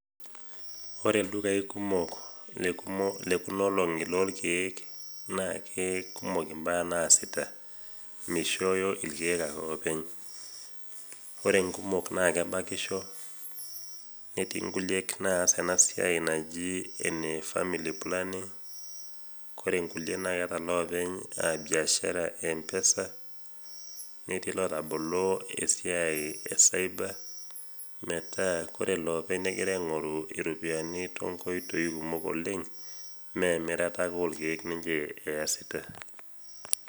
Ore ildukai kumok lekumo, lekunaolong'i lolkeek naake kumok imbaa naasita, meishoyo ilkeek ake oopeny. Ore nkumok naakebakisho netii nkuliek naas enasiai naji ene familiplanning[cs ] kore nkulie naakeeta loopeny biashara empesa netii lotabolo esiai e  saiba metaa kore loopeny negira aing'oru iropiani tonkoitoi kumok oleng' meemirata ake olkeek ninche easita.